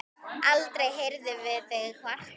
Aldrei heyrðum við þig kvarta.